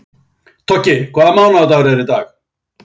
Toggi, hvaða mánaðardagur er í dag?